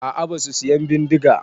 A'a basu siyan bindiga.